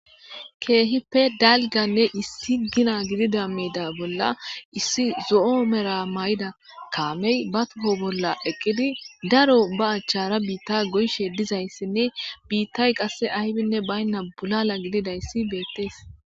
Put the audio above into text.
Keehippe dalganne issi gina gidida miida bolla issi zo'o mera may'ida kaamey batuho bolla eqqidi daro baachchara biitta goyshe dizayssinne biittay qasse aybinne baynna bulala gididayssi beettees.